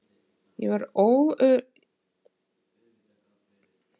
Ég var öruggur þar.